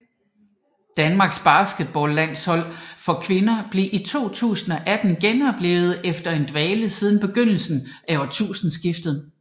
Danmarks basketballlandshold for kvinder blev i 2018 genoplivet efter en dvale siden begyndelsen af årtusindeskiftet